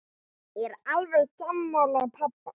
Ég er alveg sammála pabba.